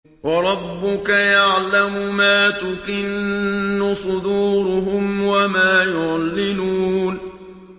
وَرَبُّكَ يَعْلَمُ مَا تُكِنُّ صُدُورُهُمْ وَمَا يُعْلِنُونَ